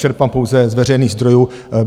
Čerpám pouze z veřejných zdrojů.